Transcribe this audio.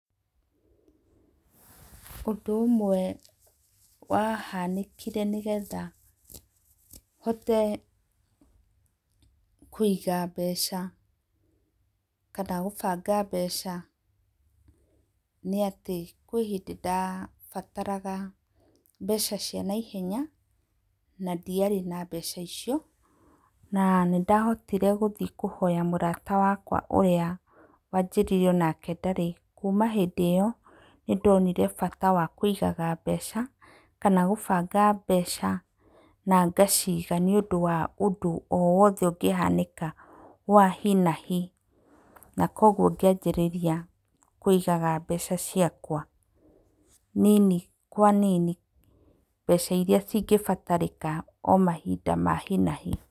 Ũndũ ũmwe wahanĩkire nĩ getha hote kũiga mbeca kana gũbanga mbeca, nĩ atĩ kwĩ hĩndĩ ndabataraga mbeca cia naihenya na ndiarĩ na mbeca icio na nĩndahotire gũthi kũhoya mũrata wakwa ũrĩa wanjĩrire o nake ndarĩ. Kuma hĩndĩ ĩo nĩ ndonire bata wa kũigaga mbeca kana gũbanga mbeca na ngaciga nĩũndũ wa ũndũ o wothe ũngĩhanĩka wa hi na hi na kũoguo ngĩanjĩrĩria kũigaga mbeca ciakwa nini kwa nini, mbeca iria cingĩbatarĩka o mahinda ma hi na hi.